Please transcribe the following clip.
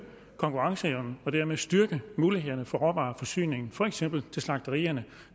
konkurrenceevnen og dermed styrke mulighederne for råvareforsyning for eksempel til slagterierne